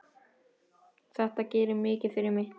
Þetta gerir mikið fyrir mig.